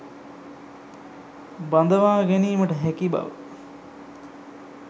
බඳවා ගැනීමට හැකි බව